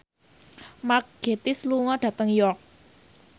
Mark Gatiss lunga dhateng York